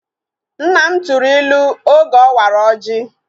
Nna m tụrụ ilu oge ọ wara ọjị